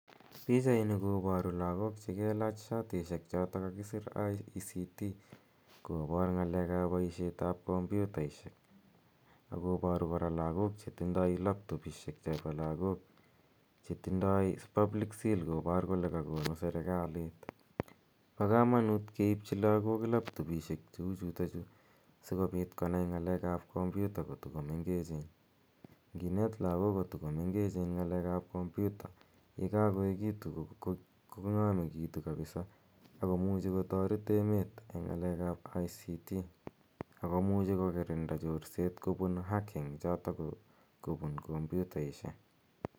Pichaini koparu lagok che kelach shatishek chotok kakisir ICT kopat ng'alek ap poishet ap kompyutaishek. Ak koparu kora lagok che tinye laptopishek chepa lagok che tindai public seal kopar kole ka konu serkalit. Pa kamanut keipchi lagok laptopishek cheu chutachu si kopit konai ng'alek ap kompyuta ko tu ko mengechen. Nginet lagok ko tu ko mengechen ng'alek ap kompyuta ye kakoekitu kong'amekitu kapisa ako muchi ko taret emet eng' ng'alek ap ICT ako muchi kokirinda chorset kopun hacking chotok ko kopun kompyutaishek.